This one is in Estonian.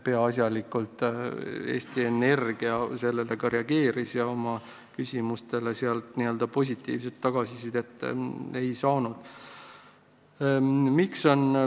Peaasjalikult Eesti Energia sellele ka reageeris, oma küsimustele sealt n-ö positiivset tagasisidet ei saanud.